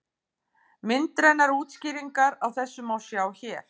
Myndrænar útskýringar á þessu má sjá hér.